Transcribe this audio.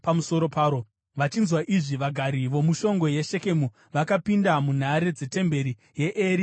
Vachinzwa izvi vagari vomushongwe yeShekemu, vakapinda munhare dzetemberi yaEri-Bheriti.